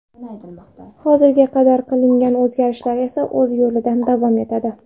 Hozirga qadar qilingan o‘zgarishlar esa o‘z yo‘lida davom etadi.